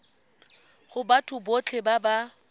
go batho botlhe ba ba